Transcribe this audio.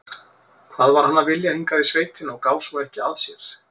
Hvað var hann að vilja hingað í sveitina og gá svo ekki að sér?